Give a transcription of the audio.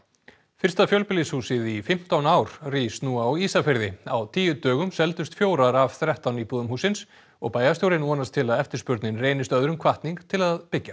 fyrsta fjölbýlishúsið í fimmtán ár rís nú á Ísafirði á tíu dögum seldust fjórar af þrettán íbúðum hússins og bæjarstjórinn vonast til að eftirspurnin reynist öðrum hvatning til að byggja